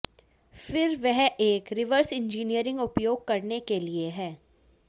फिर वह एक रिवर्स इंजीनियरिंग उपयोग करने के लिए है